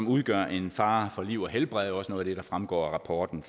udgør en fare for liv og helbred og også noget af det der fremgår af rapporten